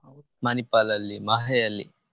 Manipal ಅಲ್ಲಿ MAHE ಅಲ್ಲಿ.